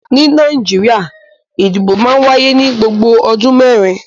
Ní Nàìjíríà ìdìbò máa ń wáyé ní gbogbo ọdún mẹ́rin.